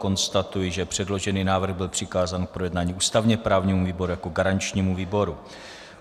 Konstatuji, že předložený návrh byl přikázán k projednání ústavně-právnímu výboru jako garančnímu výboru.